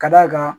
Ka d'a kan